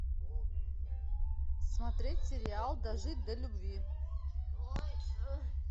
смотреть сериал дожить до любви